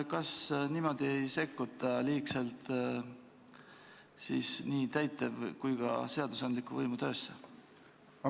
Kas niimoodi ei sekkuta liigselt nii täitev- kui ka seadusandliku võimu töösse?